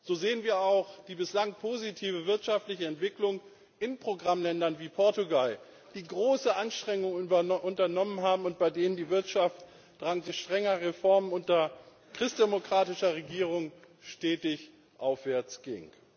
So sehen wir auch die bislang positive wirtschaftliche Entwicklung in Programmländern wie Portugal, die große Anstrengungen unternommen haben und bei denen die Wirtschaft dank strenger Reformen unter christdemokratischer Regierung stetig aufwärtsging.